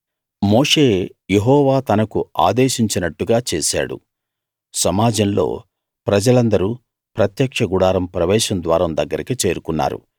మోషే యెహోవా తనకు ఆదేశించినట్టుగా చేశాడు సమాజంలో ప్రజలందరూ ప్రత్యక్ష గుడారం ప్రవేశ ద్వారం దగ్గరికి చేరుకున్నారు